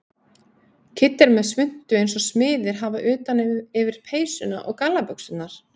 Kiddi er með svuntu eins og smiðir hafa utan yfir peysuna og gallabuxurnar.